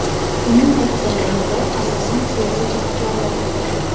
Uning tag zamirida asosan siyosiy jihatlar yotibdi.